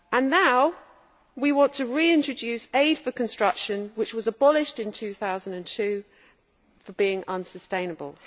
Now we want to reintroduce aid for construction, which was abolished in 2002 for being unsustainable.